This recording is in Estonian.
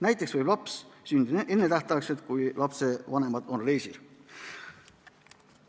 Näiteks võib laps sündida ennetähtaegselt, kui lapse vanemad on reisil.